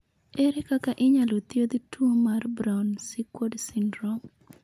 Ere kaka inyalo thiedh tuwo mar Brown Sequard syndrome?